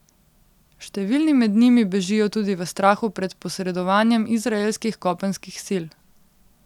Številni med njimi bežijo tudi v strahu pred posredovanjem izraelskih kopenskih sil.